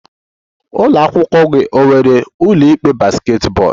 Ụlọ akwụkwọ gị ọ nwere ụlọ ikpe basketball?